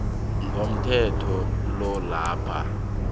komthetho lo lapha